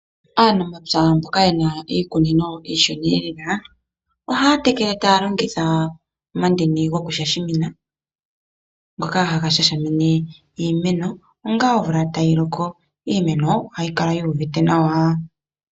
Aanamapya mboka ye na iikunino iishona, ohaya tekele taya longitha omandini gokushasha, ngoka haga shasha iimeno ongaa omvula tayi loko. Iimeno ohayi kala yu uvite nawa.